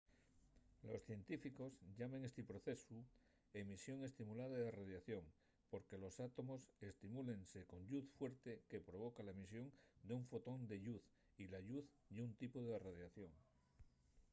los científicos llamen esti procesu emisión estimulada de radiación” porque los átomos estimúlense con lluz fuerte que provoca la emisión d'un fotón de lluz y la lluz ye un tipu de radiación